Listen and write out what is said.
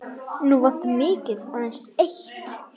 Nú vantar mig aðeins eitt!